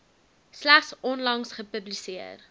slegs onlangs gepubliseer